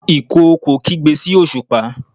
ìkookò kigbe sí osupa